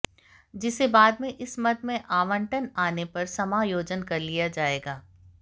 जिसे बाद में इस मद में आवंटन आने पर समायोजन कर लिया जाएगा